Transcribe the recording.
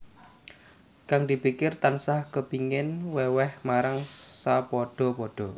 Kang dipikir tansah kepingin wèwèh marang sapadha padha